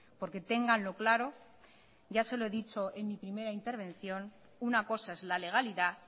porque ténganlo claro ya se lo he dicho en mi primera intervención una cosa es la legalidad